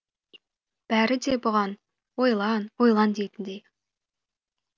бәрі де бұған ойлан ойлан дейтіндей